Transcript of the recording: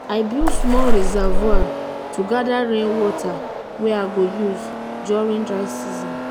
my uncle dey use local-made sprinkler for im vegetable farm.